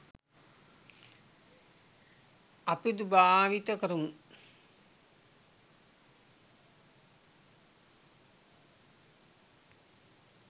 අපිදු භාවිත කරමු.